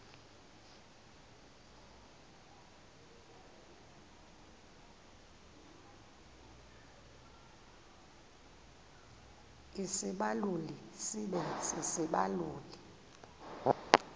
isibaluli sibe sisibaluli